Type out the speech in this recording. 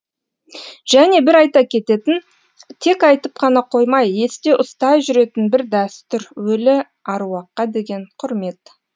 және бір айта кететін тек айтып қана қоймай есте ұстай жүретін бір дәстүр өлі аруаққа деген құрмет